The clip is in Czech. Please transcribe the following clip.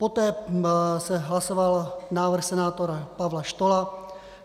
Poté se hlasoval návrh senátora Pavla Stohla.